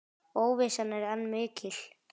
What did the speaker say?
Óvissan er enn mikil.